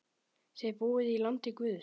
Þið búið í landi guðs.